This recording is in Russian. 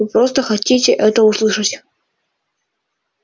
вы просто хотите это услышать